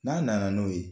N'a nana n'o ye